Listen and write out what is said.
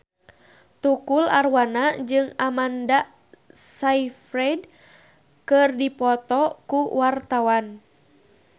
Tukul Arwana jeung Amanda Sayfried keur dipoto ku wartawan